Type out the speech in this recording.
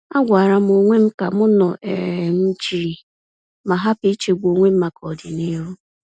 Agwaram onwem kam nọ um jii ma hapụ ichegbu onwem maka ọdịnihu.